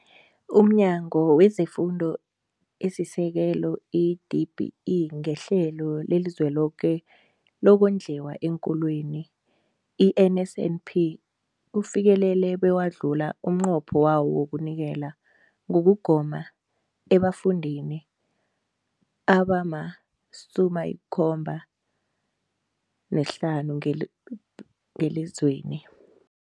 UmNyango wezeFundo esiSekelo, i-DBE, ngeHlelo leliZweloke lokoNdliwa eenKolweni, i-NSNP, ufikelele bewadlula umnqopho wawo wokunikela ngokugoma ebafundini abama-75 nhlananu ngeli ngelizweni.